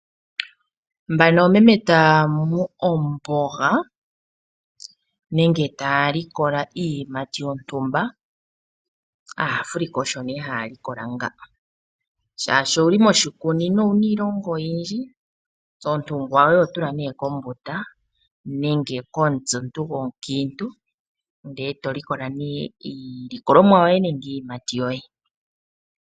Mbano oomeme taya mu omboga nenge taya likola iiyimati yontumba, aaAfrika osho nee haya likola nga. Shaashi owuli moshikunino owuna iilona oyindji, ontungwa yoye ohoyi tula nee kombunda, nenge komutse omuntu gomukiintu. Ndele to likola nee iilikolomwa yoye nenge iiyimati yoye.